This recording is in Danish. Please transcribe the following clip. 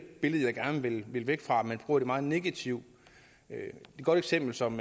billede jeg gerne vil vil væk fra man bruger det meget negativt et godt eksempel som